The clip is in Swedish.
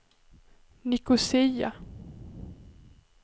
Nicosia